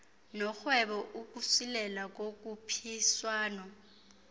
norhwebo ukusilela kokhuphiswano